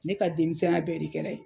Ne ka denmisɛnya bɛɛ de kɛla ye.